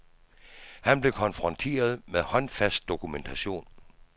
Han blev konfronteret med håndfast dokumentation.